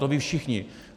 To vědí všichni.